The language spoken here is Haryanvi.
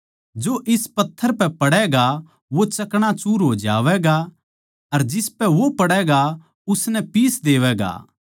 जो इस पत्थर पै पड़ैगा वो चकणाचूर हो जावैगा अर जिसपै वो पड़ैगा उसनै पीस देवैगा